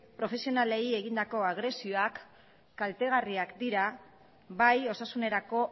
profesionalei egindako agresioak kaltegarriak dira bai osasunerako